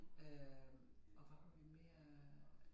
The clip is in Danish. Øh og hvad havde vi mere øh